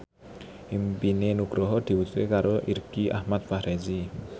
impine Nugroho diwujudke karo Irgi Ahmad Fahrezi